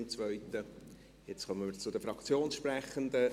Nun kommen wir zu den Fraktionssprechenden.